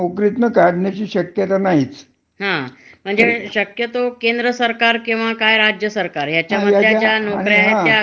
त्याच्यामधले सुद्धा अस काढता येत नाही. हं. सौरक्षण खात, हं. पोलीस खात, हं. याच्यामध्ये